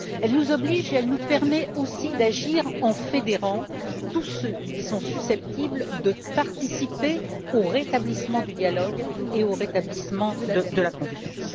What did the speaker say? Elles nous obligent et elles nous permettent aussi d'agir en fédérant tous ceux qui sont susceptibles de participer au rétablissement du dialogue et au rétablissement de la confiance.